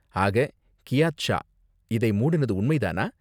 ஆக, Keith Shaw இதை மூடுனது உண்மைதானா?